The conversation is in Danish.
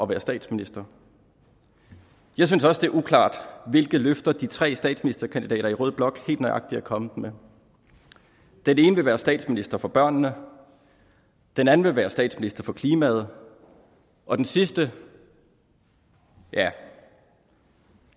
være statsminister jeg synes også at det er uklart hvilke løfter de tre statsministerkandidater i rød blok helt nøjagtig er kommet med den ene vil være statsminister for børnene den anden vil være statsminister for klimaet og den sidste ja